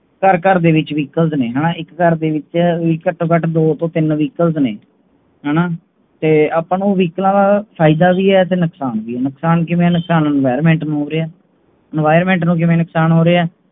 ਘਰ ਘਰ ਦੇ ਵਿੱਚ vehicles ਨੇ ਹੋਣਾ, ਇੱਕ ਘਰ ਦੇ ਵਿਚ ਵੀ ਘੱਟੋ ਘੱਟ ਦੋ ਤੋਂ ਤਿੰਨ vehicle ਨੇ ਹੈਣਾ ਤੇ ਆਪਣਾ ਨੂੰ ਓ VEHILCE ਆ ਦਾ ਫਾਇਦਾ ਵੀ ਹੈ ਤੇ ਨੁਕਸਾਨ ਵੀ ਹੈ, ਨੁਕਸਾਨ ਕਿਵੇਂ ਹੈ, ਨੁਕਸਾਨ environment ਨੂੰ ਹੋਰੀਆਂ ਹੈ। environment ਕਿਵੇਂ ਨੁਕਸਾਨ ਹੋ ਰਿਹਾ ਹੈ?